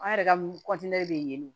An yɛrɛ ka bɛ yen nɔ